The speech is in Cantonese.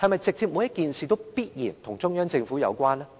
是否每件事都必然與中央政府有關呢？